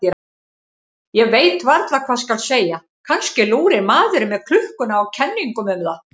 Ég veit varla hvað skal segja, kannski lúrir maðurinn með klukkuna á kenningum um það.